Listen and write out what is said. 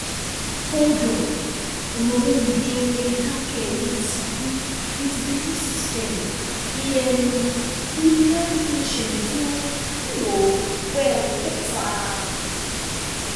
hold on um when you join medical care wey you sabi with belief system e um dey help patient do um well better